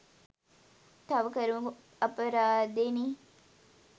තව කරමු අපරාදේ නෙ